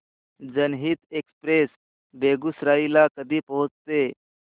जनहित एक्सप्रेस बेगूसराई ला कधी पोहचते